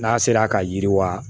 N'a sera ka yiriwa